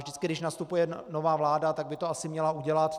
Vždycky když nastupuje nová vláda, tak by to asi měla udělat.